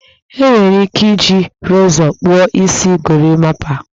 E nwere ike iji rezọ kpụọ isi gorimapa